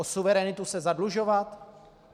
O suverenitu se zadlužovat?